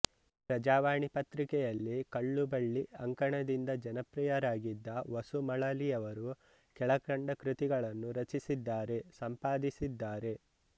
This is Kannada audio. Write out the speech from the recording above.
ಪ್ರಜಾವಾಣಿ ಪತ್ರಿಕೆಯಲ್ಲಿ ಕಳ್ಳುಬಳ್ಳಿ ಅಂಕಣದಿಂದ ಜನಪ್ರಿಯರಾಗಿದ್ದ ವಸು ಮಳಲಿಯವರು ಕೆಳಕಂಡ ಕೃತಿಗಳನ್ನು ರಚಿಸಿದ್ದಾರೆಸಂಪಾದಿಸಿದ್ದಾರೆ